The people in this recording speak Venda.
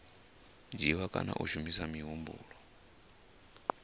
dzhiiwa kana ha shumiswa muhumbulo